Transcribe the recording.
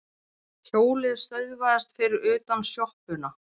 Hjólið stöðvaðist fyrir utan sjoppuna.